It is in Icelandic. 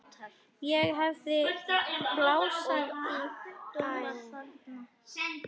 Ég hafði öðlast tilgang þarna.